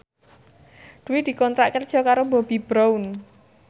Dwi dikontrak kerja karo Bobbi Brown